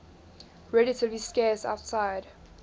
relatively scarce outside